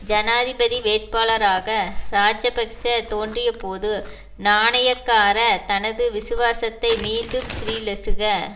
ஜனாதிபதி வேட்பாளராக இராஜபக்ஸ தோன்றியபோது நாணயக்கார தனது விசுவாசத்தை மீண்டும் ஸ்ரீலசுக